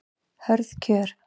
Hörð kjör